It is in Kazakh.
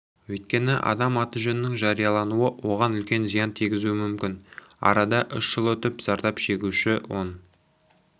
өйткені адамның аты-жөнінің жариялануы оған үлкен зиян тигізуі мүмкін арада үш жыл өтіп зардап шегуші он